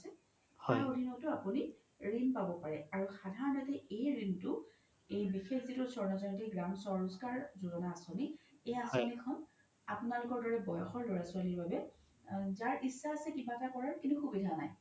তাৰ অধিনতও আপোনি ৰিন পাব পাৰে আৰু সাধানৰতে এই ৰিন তো এই বিশেষ যিতো স্বৰ্ণ জয়ন্তী চহৰী ৰোজগাৰ আচনী এইয়া আচনীখন আপোনালোকৰ দৰে বয়সৰ ল্'ৰা ছোৱালি বাবে যাৰ ইচ্ছা আছে কিবা কৰাৰ কিন্তু সুবিধা নাই